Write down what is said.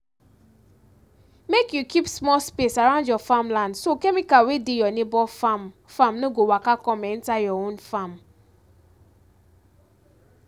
make you keep small space around your farmland so chemical wey dey your neighbor farm farm no go waka come enter your own farm